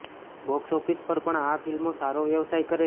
box office પર પણ આ ફિલ્મો સારો વ્યવસાય કરે છે